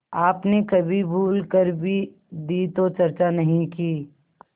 आपने कभी भूल कर भी दी तो चर्चा नहीं की